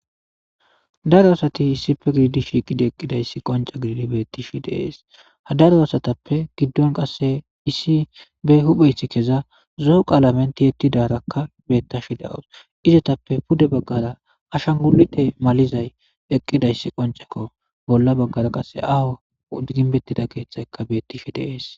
Daro asati issife gididi shiiqidi eqqidayssi qonca gididi bettishi deees ha daro asatappe giddon qasse issi be hupheyth keza zoho qaalamenti yettidarakka beettashi dawus izetappe pude baggara ashan gu'ite malizay eqqidayss qoncekko bolla baggara qasse aho udginbettida keeththayka bettishi deees.